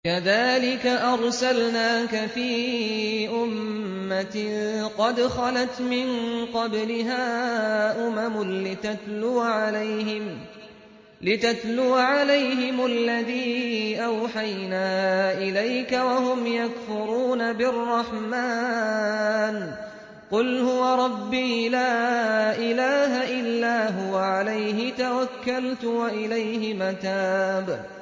كَذَٰلِكَ أَرْسَلْنَاكَ فِي أُمَّةٍ قَدْ خَلَتْ مِن قَبْلِهَا أُمَمٌ لِّتَتْلُوَ عَلَيْهِمُ الَّذِي أَوْحَيْنَا إِلَيْكَ وَهُمْ يَكْفُرُونَ بِالرَّحْمَٰنِ ۚ قُلْ هُوَ رَبِّي لَا إِلَٰهَ إِلَّا هُوَ عَلَيْهِ تَوَكَّلْتُ وَإِلَيْهِ مَتَابِ